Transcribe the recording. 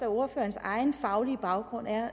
ordførerens egen faglige baggrund er